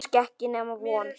Kannski ekki nema von.